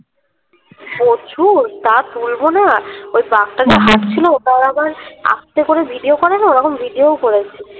প্রচুর তা তুলবো না? ওই বাঘটা যখন হাটছিলো তখন আবার আস্তে করে video করে না ওরকম video ও করেছি